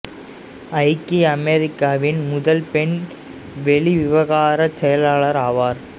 ஐக்கிய அமெரிக்காவின் முதல் பெண் வெளி விவகாரச் செயலாளர் ஆவார்